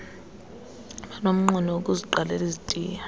abanomnqweno wokuziqalela izitiya